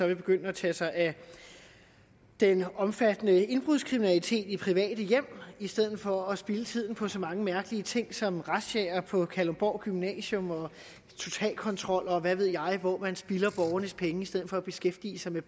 vil begynde at tage sig af den omfattende indbrudskriminalitet i private hjem i stedet for at spilde tiden på så mange mærkelige ting som razziaer på kalundborg gymnasium og totalkontroller og hvad ved jeg hvor man spilder borgernes penge i stedet for at beskæftige sig med